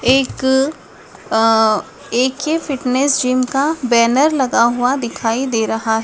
एक आ A K fitness gym का बैनर लगा हुआ दिखाइ दे रहा--